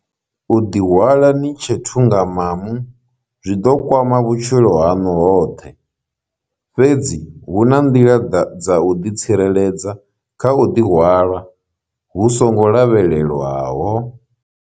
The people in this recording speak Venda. U ḓihwala ni tshe thungamamu zwi ḓo kwama vhutshilo haṋu hoṱhe, fhedzi hu na nḓila dza u ḓitsireledza kha u ḓihwala hu songo lavhelelwaho.